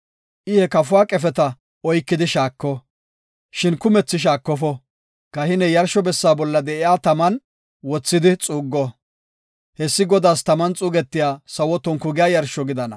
I he kafuwa qefeta oykidi shaako, shin kumethi shaakofo. Kahiney yarsho bessa bolla de7iya taman wothidi xuuggo; hessi Godaas taman xuugetiya sawo tonku giya yarsho gidana.